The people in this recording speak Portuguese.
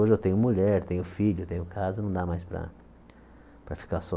Hoje eu tenho mulher, tenho filho, tenho casa, não dá mais para para ficar só